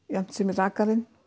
jafnt sem rakarinn